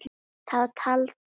Þá taldi